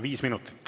Viis minutit.